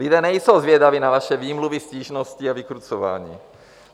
Lidé nejsou zvědavi na vaše výmluvy, stížnosti a vykrucování.